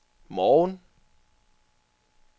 morgen